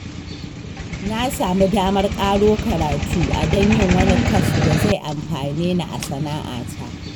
Na samu damar ƙaro karatu a don yin wani kwas da zai amfane ni a sana'ata